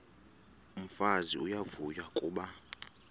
umfazi uyavuya kuba